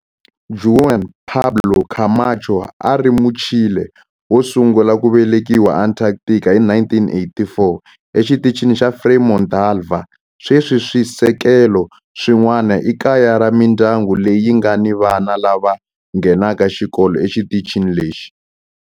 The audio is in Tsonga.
Juan Pablo Camacho a a ri Muchile wo sungula ku velekiwa eAntarctica hi 1984 eXitichini xa Frei Montalva. Sweswi swisekelo swin'wana i kaya ra mindyangu leyi nga ni vana lava nghenaka xikolo exitichini lexi.